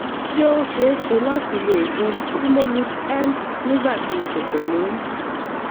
ṣé ó ṣe é ṣe láti lo oògùn primolut n nígbà tí mo ṣẹ̀ṣẹ̀ lóyún?